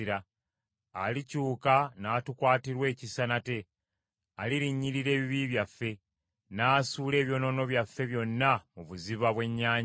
Alikyuka n’atukwatirwa ekisa nate; alirinnyirira ebibi byaffe, n’asuula ebyonoono byaffe byonna mu buziba bw’ennyanja.